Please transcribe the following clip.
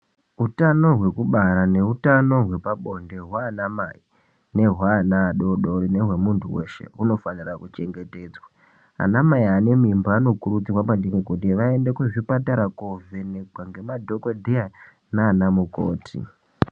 Utano hwekubara neutano hwepabonde hwaanamai nehwaana adoodori nehwemunthu weshe hunofanira kuchengetedzwa .Anamai ane mimba anokurudzirwa maningi kuti vaende kuzvipatara koovhenekwa ngemadhokodheya naanamukoti.